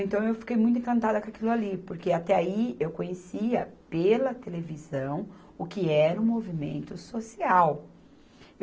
Então eu fiquei muito encantada com aquilo ali, porque até aí eu conhecia pela televisão o que era o movimento social.